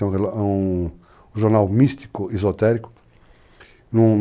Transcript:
É um jornal místico, esotérico.